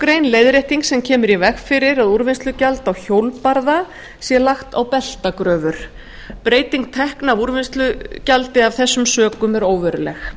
grein leiðrétting sem kemur í veg fyrir að úrvinnslugjald á hjólbarða sé lagt á beltagröfur breyting tekna af úrvinnslugjaldi af þessum sökum er óveruleg